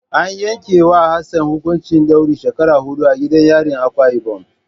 An yanke wa Hassan hukuncin daurin shekara hidu a gidan yarin Akwa ibom.